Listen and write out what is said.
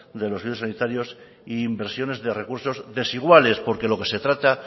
de los servicios sanitarias e inversiones de recursos desiguales porque de lo que se trata